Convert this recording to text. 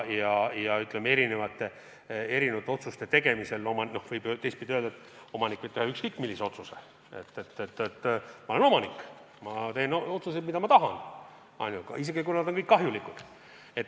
Teistpidi võib erinevate otsuste puhul öelda, et omanik võib teha ükskõik millise otsuse – ma olen omanik, ma teen otsused, mida ma tahan, isegi kui nad on kahjulikud.